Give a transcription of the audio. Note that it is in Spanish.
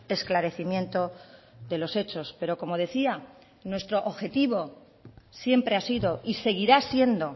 esclarecimiento de los hechos pero como decía nuestro objetivo siempre ha sido y seguirá siendo